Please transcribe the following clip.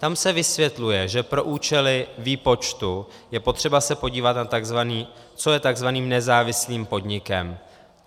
Tam se vysvětluje, že pro účely výpočtu je potřeba se podívat, co je tzv. nezávislým podnikem.